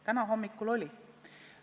Täna hommikul oli leitud.